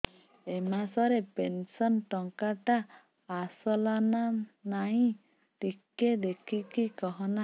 ଏ ମାସ ରେ ପେନସନ ଟଙ୍କା ଟା ଆସଲା ନା ନାଇଁ ଟିକେ ଦେଖିକି କହନା